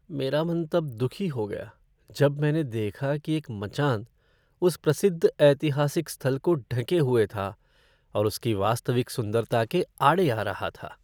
मेरा मन तब दुखी हो गया जब मैंने देखा कि एक मचान उस प्रसिद्ध ऐतिहासिक स्थल को ढँके हुए था और उसकी वास्तविक सुंदरता के आड़े आ रहा था।